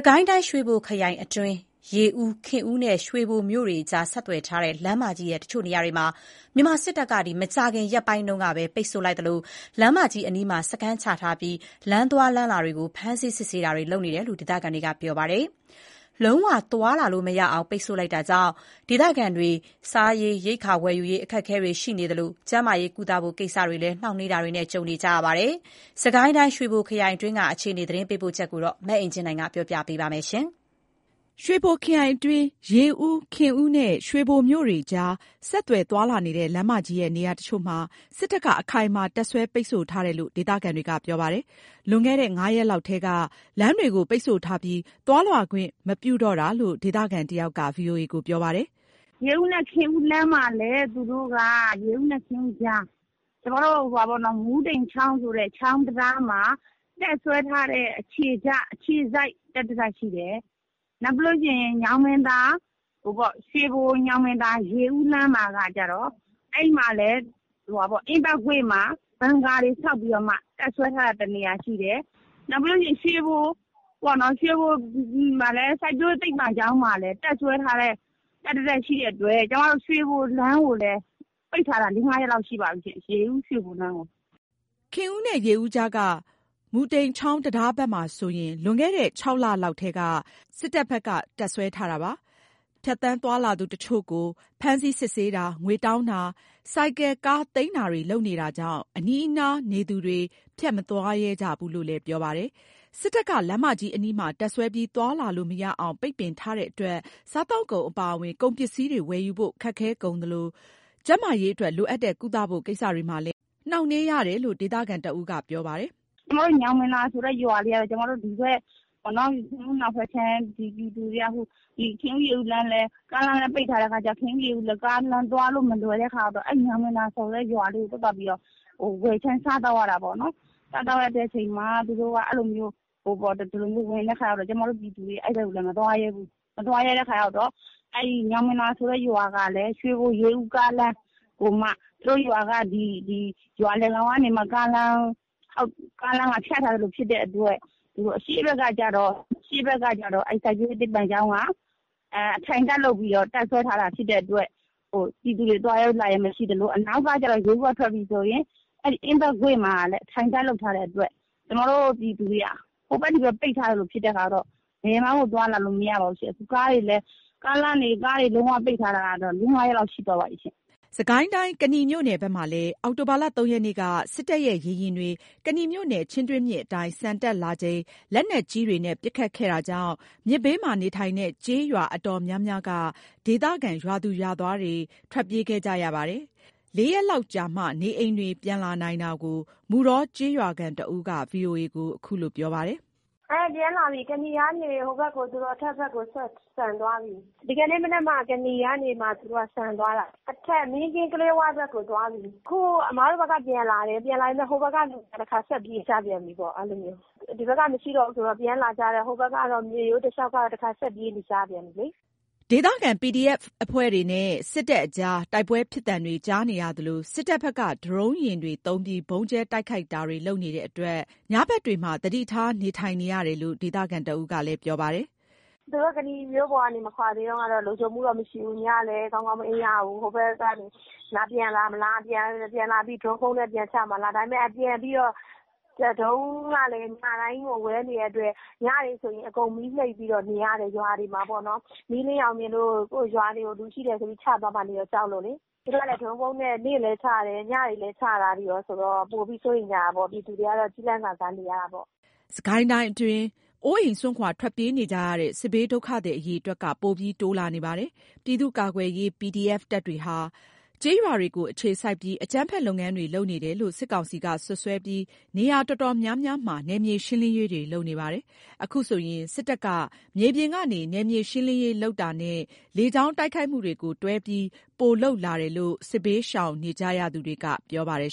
ကိုင်းတိုင်း ရွှေဘိုခရိုင်အတွင်း ရေဦး၊ ခင်ဦးနဲ့ ရွှေဘိုမြို့တွေကြား ဆက်သွယ် ထားတဲ့လမ်းမကြီးရဲ့ တချို့နေရာတွေမှာ မြန်မာစစ်တပ်က မကြာခင်ရက်ပိုင်းက ပိတ်ဆို့လိုက်သလို လမ်းမကြီးအနီးမှာစခန်းချထားပြီး လမ်းသွားလမ်းလာတွေကို ဖမ်းဆီးစစ်ဆေးနေတယ်လို့ ဒေသခံတွေက ပြောပါတယ်။ လုံးဝသွားလာလို့မရအောင် ပိတ်ဆို့လိုက်တာကြောင့် ဒေသခံတွေ စားရေရိက္ခာဝယ်ယူရေး အခက်အခဲတွေ ရှိနေသလို ကျန်းမာရေးကိစ္စတွေအတွက်လည်း နှောင့်နှေးနေတာတွေ ကြုံနေကြရပါတယ်။ စစ်ကိုင်းတိုင်း ရွှေဘိုခရိုင်အတွင်းက အခြေအနေ သတင်းပေးပို့ချက်ကို မအင်ကြင်းနိုင် တင်ပြပေးထားပါတယ်။ ရွှေဘိုခရိုင်အတွင်း ရေဦး၊ ခင်ဦးနဲ့ ရွှေဘိုမြို့တွေကြား ဆက်သွယ်သွားလာတဲ့ လမ်းမကြီးရဲ့ နေရာတချို့မှာ စစ်တပ်က အခိုင်အမာတပ်စွဲပိတ်ဆို့ထားတယ်လို့ ဒေသခံတွေက ပြောပါတယ်။ လွန်ခဲ့တဲ့ ၅ ရက်လောက်ကတည်းက လမ်းတွေကို ပိတ်ဆို့ထားပြီး သွားလာခွင့်မပြုတော့တာလို့ ဒေသခံတယောက်က ပြောပြပါတယ်။ “ရေဦးနဲ့ခင်ဦးလမ်းမှာလည်း သူတို့က ရေဦးနဲ့ခင်ဦးကြား မူးတိမ်ချောင်းဆိုတဲ့ ချောင်းတံတားမှာတပ်စွဲထားတဲ့ အခြေစိုက်တပ်တတပ်ရှိတယ်။ နောက်ပြီးတော့ ရွှေဘို၊ ညောင်ပင်သာ၊ ရေဦးလမ်းမှာကကျတော့ အဲ့မှာလည်း အင်းမကွေ့မှာ ဘန်ကာတွေ ဆောက်ပြီးတော့မှ တပ်စွဲထားတာတနေရာရှိတယ်။ နောက်ပြီးတော့ ရွှေဘို စိုက်ပျိုးရေးသိပ္ပံနားမှာလည်း တပ်စွဲထားတဲ့တပ်တတပ်ရှိတဲ့အတွက် ကျမတို့ ရွှေဘိုလမ်း၊ ရေဦး-ရွှေဘိုလမ်းကိုလည်း ပိတ်ထားတာ ၄၊ ၅ ရက်လောက်ရှိပါပြီရှင့်။” ခင်ဦးနဲ့ ရေဦးကြားက မူးတိမ်ချောင်းတံတားဘက်မှာဆိုရင် လွန်ခဲ့တဲ ၆ လလောက် ကတည်းက စစ်တပ်တွေ တပ်စွဲထားတာပါ။ ဖြတ်သန်းသွားလာသူတချို့ကို ဖမ်းဆီးစစ်ဆေးတာ၊ ငွေတောင်းတာ၊ ဆိုင်ကယ်နဲ့ကားတွေသိမ်းတာတွေကြောင့် အနီးအနားနေသူတွေ ဖြတ်မသွားရဲကြဘူးလို့လည်း ပြောပါတယ်။ စစ်တပ်က လမ်းမကြီးအနီးမှာတပ်စွဲပြီး သွားလာလို့မရအောင် ပိတ်ပင်ထားတဲ့အတွက် စားသောက် ကုန်အပါအဝင် ကုန်ပစ္စည်းဝယ်ယူဖို့ခက်ခဲကုန်သလို ကျန်းမာရေးအတွက် လိုအပ် တဲ့ ကုသဖို့ကိစ္စတွေမှာလည်း နှောင့်နှေးရတယ်လို့ ဒေသခံတဦးက ပြောပြပါတယ်။ “ညောင်ပင်သာဆိုတဲ့ရွာက ကျမတို့ ဒီဘက် ခင်ဦးအနောက်ဘက်ခြမ်းပြည်သူတွေက ခင်ဦး-ရေဦး ကားလမ်းကလည်း ပိတ်ထားတဲ့အခါကျတော့ ကားလမ်းသွားလို့ မလွယ်တဲ့ခါကျတော့ ညောင်ပင်သာဆိုတဲ့ရွာကိုပဲသွားပြီးတော့ ဝယ်ခြမ်းစားသောက်ရတာပေါ့နှော်။ အဲ့ဒါကိုသူတို့က ခုလိုမျိုးလုပ်တဲ့ခါကျတော့ ကျမတို့က အဲ့ဘက် ကို မသွားရဲတော့ဘူး။ မသွားရဲတဲ့ခါကျတော့ အဲ့ဒီညောင်ပင်သူဆိုတဲ့ ရွာကလည်း ရွှေဘို-ရေဦးကားလမ်းကိုမှ သူတို့ရွာက ရွာလယ်ကနေမှ ကားလမ်းက ဖြတ် ထားသလိုဖြစ်တဲ့အတွက် အရှေ့ဘက်ကကျတော့ စိုက်ပျိုးရေးသိပ္ပံကျောင်းက အထိုင်တပ်လုပ်ပြီးတော့ တပ်စွဲထားတာဖြစ်တဲ့အတွက် ပြည်သူတွေ သွားရေး လာရေးမရှိသလို အနောက်က ရေဦးကထွက်ပြီဆိုရင် အဲ့ဒီ အင်းမကွေ့မှာလည်း အထိုင်တပ်လုပ်ထားတာဖြစ်တဲ့အတွက် ကျမတို့ ပြည်သူတွေက ဟိုဘက် ဒီဘက် ပိတ်ထားသလို ဖြစ်တဲ့အခါကျတော့ ဘယ်မှကို သွားလာလို့မရပါဘူးရှင့်။ အခု ကားလမ်းတွေပိတ်ထားတာကတော့ ၄၊ ၅ ရက်လောက် ရှိသွားပါပြီရှင့်။” စစ်ကိုင်းတိုင်း၊ ကနီမြို့နယ်မှာလည်း အောက်တိုဘာ ၃ ရက်နေ့က စစ်တပ်ရဲ့ ရေယာဉ်တွေ ကနီမြို့နယ် ချင်းတွင်းမြစ်အတိုင်း ဆန်တက်လာချိန် လက်နက်ကြီးတွေနဲ့ ပစ်ခတ်ခဲ့တာကြောင့် မြစ်ဘေးမှာ နေထိုင်တဲ့ ကျေးရွာအတော်များများက ဒေသခံ ရွာသူရွာသားတွေ ထွက်ပြေးခဲ့ကြရပါတယ်။ ၄ ရက်လောက်ကြာမှာ နေအိမ်တွေ ပြန်လာနိုင်တာကို မုဌောကျေးရွာခံတဦးက VOA ကို ပြောပါတယ်။ “ပြန်လာပြီ။ ကနီကနေ သူတို့ အထက်ဘက်ကို ဆန်သွားပြီ။ ဒီကနေ့ မနက်မှ ကနီကနေ သူတို့က ဆန်သွားတာ။ အထက်မင်းကင်း၊ ကလေးဝဘက်ကိုသွားပြီ။ အခု အမတို့ဘက်က ပြန်လာတယ်။ ပြန်လာပြီး ဟိုဘက်က လူတွေ တခါ ဆက်ပြေးကြပြန်ပြီပေါ့။ အဲ့လိုမျိုး ဒီဘက်က မရှိတော့ဘူးဆိုတော့ ပြန်လာကြတာ။ ဟိုဘက်ကတော့ မြစ်ရိုးတလျှောက်ကတော့ တခါဆက်ပြေးနေကြပြန်ပြီလေ။” ဒေသခံ PDF အဖွဲ့တွေနဲ့ စစ်တပ်အကြား တိုက်ပွဲဖြစ်သံတွေ ကြားနေရသလို စစ် တပ်ဘက်က ဒရုန်းယာဉ်တွေသုံးပြီး ဗုံးကြဲတိုက်ခိုက်တာတွေ လုပ်နေတဲ့အတွက် ညဘက်တွေမှာ သတိထားနေထိုင်ရတယ်လို့လည်း ဒေသခံတဦးက ပြောပါတယ်။ “သူတို့ကနီမြို့ပေါ် မကွာသေးတုန်းကတော့ လုံခြုံမှုတော့မရှိဘူး။ ညလည်း ကောင်းကောင်းမအိပ်ရဘူး၊ ဟိုဘက်ကနေ ပြန်လာမလား၊ ပြန်လာပြီး ဒရုန်းဗုံးနဲ့ ပြန်ချမှာလား၊ ဒါပေမယ့် ပြန်ပြီးတော့ ဒရုန်းကလည်း ညတိုင်းကို ဝဲနေတဲ့အတွက် ညတွေဆိုရင် အကုန်မီးမှိတ်ပြီးတော့ နေရတယ်။ ရွာတွေမှာပေါ့နော်၊ မီးလင်းရောင်မြင်လို့ ကိုယ့်ရွာတွေကို လူရှိတယ်ဆိုပြီး ချသွားမှာကို ကြောက်လို့လေ။ သူတို့က ဒရုန်းဗုံးနဲ့ နေ့လည်းချတယ်၊ ညလည်းချတာတွေရောဆိုတော့ ပိုပြီးစိုးရိမ်ကြတာပေါ့။ ပြည်သူတွေကတော့ ကျီးလန့်စာစား နေရတာပေါ့။” စစ်ကိုင်းအတွင်းမှာ အိုးအိမ်စွန့်ခွာ ထွက်ပြေးနေကြရတဲ့ စစ်ဘေးဒုက္ခသည်အရေအတွက်က ပိုပြီး တိုးလာနေပါတယ်။ ပြည်သူ့ကာကွယ်ရေး PDF တပ်တွေဟာ ကျေးရွာတွေကို အခြေစိုက်ပြီး အကြမ်းဖက် လုပ်ငန်းတွေ လုပ်နေတယ်လို့ စစ်ကောင်စီက စွပ်စွဲပြီး နေရာတော်တော်များများမှာ နယ်မြေရှင်းလင်းရေးတွေ လုပ်နေပါတယ်။ အခုဆိုရင် စစ်တပ်က မြေပြင်ကနေ နယ်မြေရှင်းလင်းရေးလုပ်တာနဲ့ လေကြောင်းတိုက်ခိုက်မှုတွေကို တွဲပြီး ပိုလုပ်လာတယ်လို့ စစ်ဘေးရှောင်နေကြရသူတွေက ပြောပါတယ်